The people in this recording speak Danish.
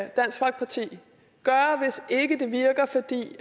dansk folkeparti gøre hvis det ikke virker fordi